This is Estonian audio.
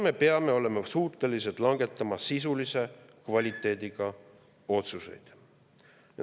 Me peame olema suutelised langetama sisulise kvaliteediga otsuseid.